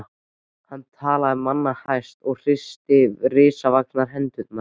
Hann talaði manna hæst og hristi risavaxnar hendurnar.